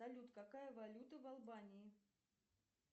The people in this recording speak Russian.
салют какая валюта в албании